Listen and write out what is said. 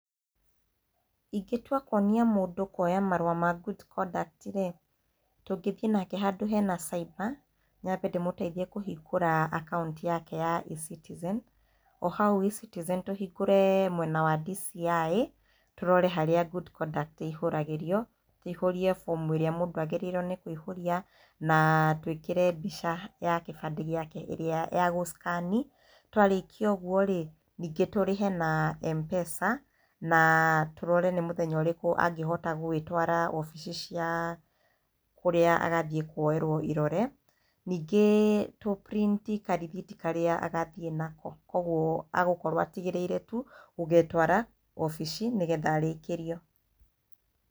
Ingĩtua kwonia mũndũ kwoya marũa ma good conduct rĩ tũngĩthiĩ nake handũ hena cyber nyambe ndĩ mũteithie kũhingũra akaunti yake ya eCitizen. O hau eCitizen tũhingũre mwena wa DCI tũrore haria good conduct ĩihũragĩrio, njihũrie fomu ĩrĩa mũndũ agĩrĩirwo nĩ kũiyũria na twĩkĩre mbica ya kĩbande gĩake ĩrĩa ya gũ scan. Twarĩkia ũguo rĩ ningĩ tũrehe na Mpesa na tũrore nĩ mũthenya ũrĩkũ angĩhota gwĩtwara wobici cia kũrĩa agathiĩ kwoĩrwo irore ningĩ tũ print karithiti karĩa agathiĩ nako kwoguo agũkorwo atigĩrĩire tu gũgetwara wabici nĩ getha arĩkĩrio.